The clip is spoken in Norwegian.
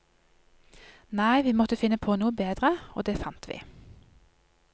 Nei, vi måtte finne på noe bedre, og det fant vi.